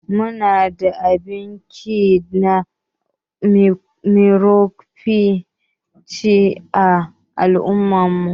Muna da banki na microfinance a al'ummar mu.